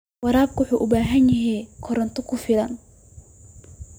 Waraabka wuxuu u baahan yahay koronto ku filan.